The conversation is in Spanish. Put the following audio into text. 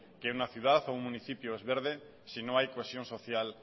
que una ciudad o un municipio es verde si no hay cohesión social